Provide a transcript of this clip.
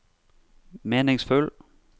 meningsfull